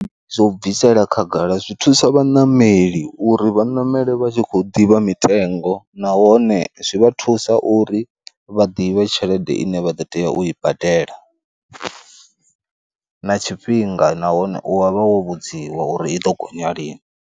Zwo bvisela khagala, zwi thusa vhaṋameli uri vhanamele vha tshi khou ḓivha mitengo nahone zwi vha thusa uri vha ḓivhe tshelede ine vha ḓo tea u i badela, na tshifhinga nahone u wa vha wo vhudziwa uri i ḓo gonya lini.